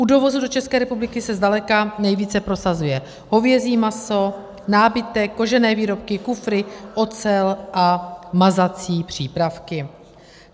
U dovozu do České republiky se zdaleka nejvíce prosazuje hovězí maso, nábytek, kožené výrobky, kufry, ocel a mazací přípravky.